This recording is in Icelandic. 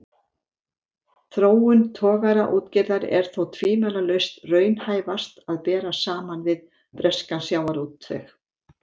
Þróun togaraútgerðar er þó tvímælalaust raunhæfast að bera saman við breskan sjávarútveg.